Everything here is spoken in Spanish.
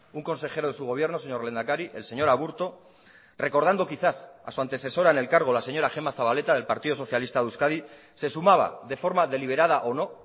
un consejero de su gobierno señor lehendakari el señor aburto recordando quizás a su antecesora en el cargo la señora gema zabaleta del partido socialista de euskadi se sumaba de forma deliberada o no